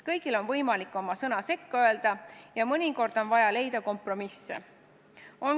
Kõigil on võimalik oma sõna sekka öelda ja mõnikord on vaja leida kompromisse.